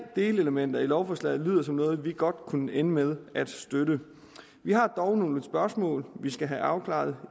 delelementer i lovforslaget lyder som noget vi godt kunne ende med at støtte vi har dog nogle spørgsmål vi skal have afklaret